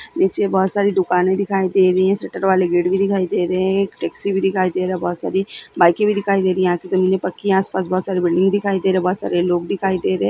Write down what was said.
नीचे बहुत सारी दुकाने दिखाई दे रही हैं शटर वाले गेट भी दिखाई दे रहे हैं एक टैक्सी भी दिखाई दे रहा है बहुत सारी बाईके भी दिखाई दे रही हैं आगे से पाकी आस पास बहुत सारी बिल्डिंग दिखाई दे रही हैं बहुत सारे लोग दिखाई दे रहे हैं।